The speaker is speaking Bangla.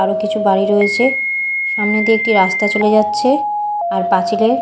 আরও কিছু বাড়ি রয়েছে সামনে দিয়ে একটি রাস্তা চলে যাচ্ছে আর পাঁচিলে--